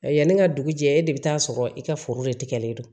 Yanni n ka dugu jɛ e de bɛ taa sɔrɔ i ka foro de tigɛlen don